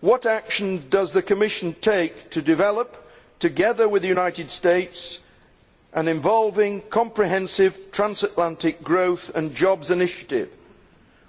What action does the Commission intend to take to develop, together with the United States, an involving comprehensive transatlantic growth and jobs initiative,